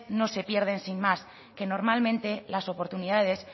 no se pierden sin más que normalmente las oportunidades